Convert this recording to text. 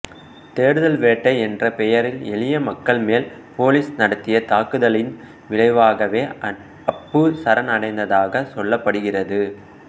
தேடுதல் வேட்டை என்ற பேரில் எளியமக்கள் மேல் போலீஸ் நடத்திய தாக்குதலின் விளைவாகவே அப்பு சரண் அடைந்ததாகச் சொல்லப்படுகிறது